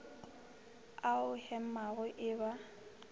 a o hemago e ba